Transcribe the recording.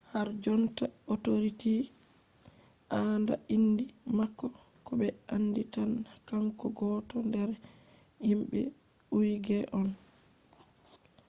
harjonta authorities andaa inde mako ko be andi tan kanko gooto nder himbe uigher on